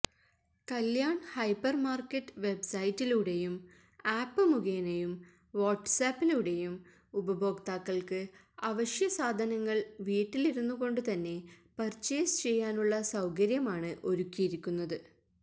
Kalyan hypermarket വെബ്സൈറ്റിലൂടെയും app മുഖേനയും വാട്സ്ആപ്പിലൂടെയും ഉപഭോക്താക്കൾക്ക് അവശ്യസാധനങ്ങൾ വീട്ടിലിരുന്നുകൊണ്ടുതന്നെ പർച്ചേസ് ചെയ്യാനുള്ള സൌകര്യമാണ് ഒരുക്കിയിരിക്കുന്നത്